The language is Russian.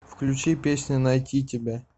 включи песня найти тебя